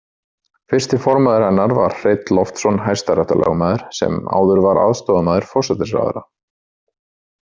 Fyrsti formaður hennar var Hreinn Loftsson hæstaréttarlögmaður sem áður var aðstoðarmaður forsætisráðherra.